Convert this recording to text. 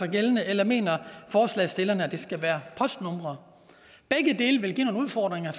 gældende eller mener forslagsstillerne at det skal være postnumre begge dele vil give nogle udfordringer